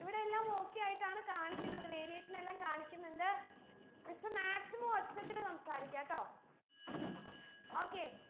ഇവിടെയെല്ലാം okay ആയിട്ടാണ് കാണിക്കുന്നത് variation ല്ലാം കാണിക്ക്ന്ന്ണ്ട് miss maximum ഒച്ചത്തിൽ സംസാരിക്കാട്ടോ okay